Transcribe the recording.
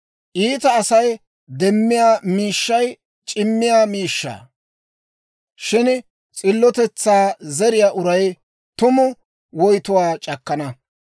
Iita Asay demmiyaa miishshay c'imiyaa miishshaa; shin s'illotetsaa zeriyaa uray tumu woytuwaa c'akkana.